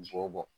B'o bɔ